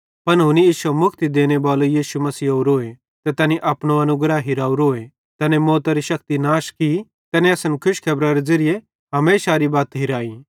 पन हुनी इश्शे मुक्ति देनेबाले यीशु मसीह ओरोए ते तैनी अपनो अनुग्रह हिरावरोए तैने मौतरी शक्ति नाश की तैने असन खुशखेबरारे ज़िरिये हमेशारे ज़िन्दगरी बत हिराई